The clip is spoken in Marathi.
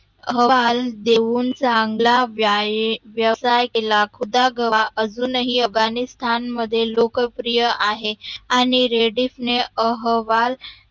अहवाल देऊन चांगला व्यवसाय केला खुदागवा अजूनही अफगाणीस्थाण मध्ये लोकप्रिय आहे आणि रेडिसने अहवाल